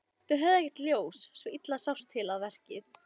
Þeir höfðu ekkert ljós, svo illa sást til við verkið.